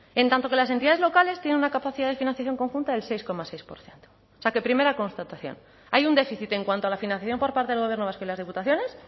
en tanto que las entidades locales tienen una capacidad de financiación conjunta del seis coma seis por ciento o sea que primera constatación hay un déficit en cuanto a la financiación por parte del gobierno vasco y las diputaciones